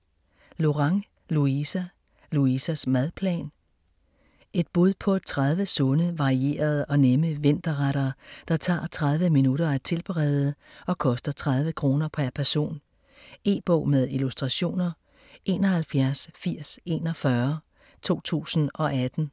Lorang, Louisa: Louisas madplan Et bud på 30 sunde, varierede og nemme vinterretter, der tager 30 minutter at tilberede og koster 30 kr. pr. person. E-bog med illustrationer 718041 2018.